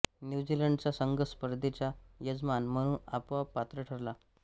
न्यूझीलंडचा संघ स्पर्धेचा यजमान म्हणून आपोआप पात्र ठरला